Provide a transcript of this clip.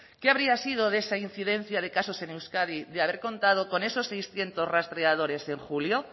qué habría sido de esa incidencia de casos en euskadi de haber contado con esos seiscientos rastreadores en julio